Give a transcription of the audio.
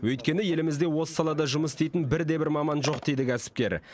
өйткені елімізде осы салада жұмыс істейтін бірде бір маман жоқ дейді кәсіпкер